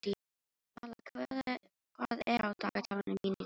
Vala, hvað er á dagatalinu mínu í dag?